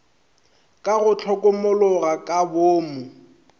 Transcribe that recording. ka go hlokomologa ka boomo